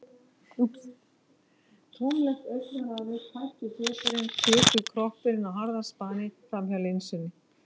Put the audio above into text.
Tómlegt augnaráðið, tættur svipurinn- kvikur kroppurinn á harðaspani framhjá linsunni.